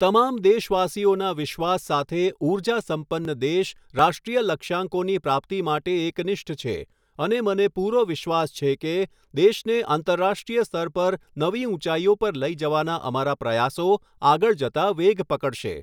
તમામ દેશવાસીઓના વિશ્વાસ સાથે ઊર્જાસંપન્ન દેશ રાષ્ટ્રીય લક્ષ્યાંકોની પ્રાપ્તિ માટે એકનિષ્ઠ છે અને મને પૂરો વિશ્વાસ છે કે, દેશને આંતરરાષ્ટ્રીય સ્તર પર નવી ઊંચાઈઓ પર લઈ જવાના અમારા પ્રયાસો આગળ જતા વેગ પકડશે.